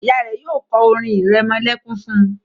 Ìyá rẹ yóò ko orin iremolekun fún.